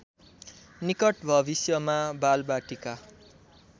निकट भविष्यमा बालबाटिका